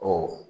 Ɔ